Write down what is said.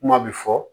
Kuma bɛ fɔ